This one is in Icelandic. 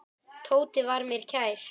Tóti var mér kær.